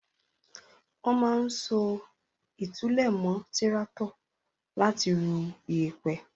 Wọ́n máa ń so ìtúlẹ̀ mọ́ tíráátọ̀ láti rú iyẹ̀pẹ̀.